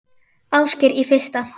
Ásgeir: Í fyrsta?